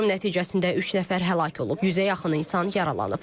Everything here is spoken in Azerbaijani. Hücum nəticəsində üç nəfər həlak olub, yüzə yaxın insan yaralanıb.